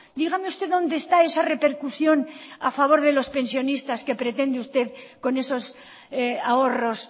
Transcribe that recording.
dígame usted dónde está esa repercusión a favor de los pensionistas que pretende usted con esos ahorros